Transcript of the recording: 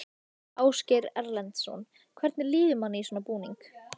Ásgeir Erlendsson: Hvernig líður manni í svona búning?